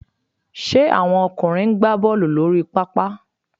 Ṣe àwọn ọkùnrin ń gbá Bọ́ọ̀lù lórí pápá?